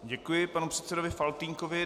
Děkuji panu předsedovi Faltýnkovi.